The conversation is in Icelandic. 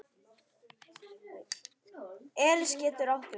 Elís getur átt við